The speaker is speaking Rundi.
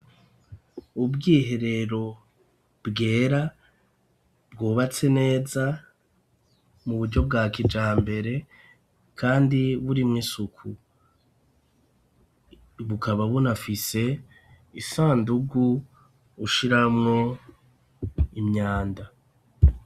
Ubwiherero bwera bwubatse neza mu buryo bwa kijambere, kandi buri mw' isuku bukaba bunafise isandugu ushiramwo imyanda.